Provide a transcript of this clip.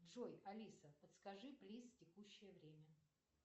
джой алиса подскажи плиз текущее время